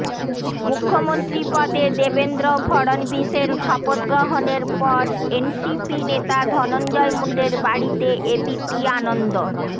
মুখ্যমন্ত্রীপদে দেবেন্দ্র ফডণবীশের শপথগ্রহণের পর এনসিপি নেতা ধনঞ্জয় মুণ্ডের বাড়িতে এবিপি আনন্দ